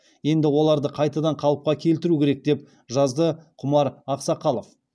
енді оларды қайтадан қалыпқа келтіру керек деп жазды құмар ақсақалов